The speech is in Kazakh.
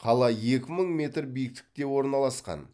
қала екі мың метр биіктікке орналасқан